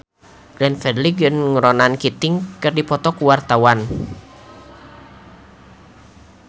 Glenn Fredly jeung Ronan Keating keur dipoto ku wartawan